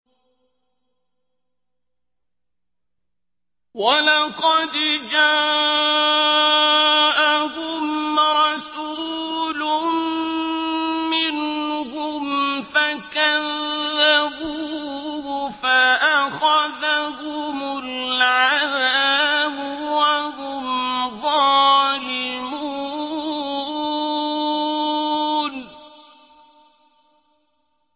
وَلَقَدْ جَاءَهُمْ رَسُولٌ مِّنْهُمْ فَكَذَّبُوهُ فَأَخَذَهُمُ الْعَذَابُ وَهُمْ ظَالِمُونَ